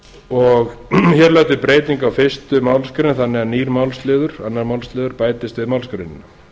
gerð breyting á fyrstu málsgreinar þannig að nýr málsliður annar málsliður bætist við málsgreinina